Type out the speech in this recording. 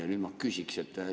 Ja nüüd ma küsiksin.